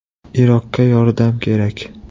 Iroqqa yordam kerak.